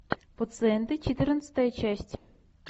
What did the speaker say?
пациенты четырнадцатая часть